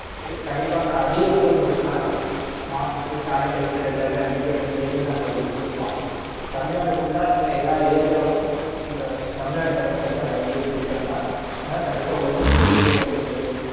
கண்டிப்பா madam அதுலையே வந்து mask, sanitizer எல்லாமே வந்துட்டு எங்க side ல இருந்து நாங்க உங்களுக்கு கொடுப்போம். தமிழ்நாடு full லா எல்லா area வுக்கும் எங்க தமிழ்நாடு அரசு வந்து அது வந்து கொடுக்கறாங்க. அதனால கண்டிபா உங்களுக்கும் கூடிய சீக்கிரத்துல வந்து சேரும்.